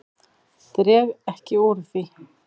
Dreg ekki úr því.